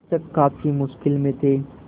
शिक्षक काफ़ी मुश्किल में थे